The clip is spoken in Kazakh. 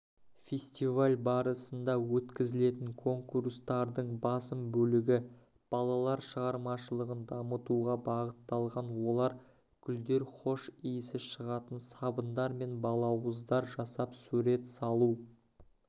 фестиваль барысында өткізілетін конкурстардың басым бөлігі балалар шығармашылығын дамытуға бағытталған олар гүлдердің хош иісі шығатын сабындар мен балауыздар жасап сурет салу